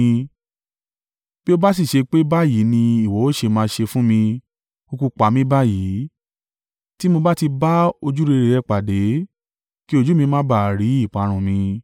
Bí ó bá sì ṣe pé báyìí ni ìwọ ó ṣe máa ṣe fún mi, kúkú pa mí báyìí, tí mo bá ti bá ojúrere rẹ pàdé—kí ojú mi má ba à rí ìparun mi.”